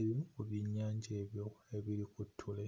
eeh ku byennjaja ebyo ebiri ku ttule.